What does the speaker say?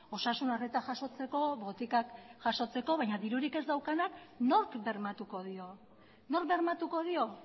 osasun arreta jasotzeko botikak jasotzeko baina dirurik ez daukanak nork bermatuko dio nork bermatuko dio